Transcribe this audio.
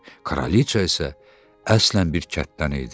Kraliça isə əslən bir kənddən idi.